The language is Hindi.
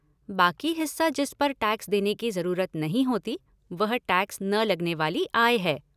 बाकी हिस्सा जिस पर टैक्स देने की जरूरत नहीं होती, वह टैक्स न लगने वाली आय है।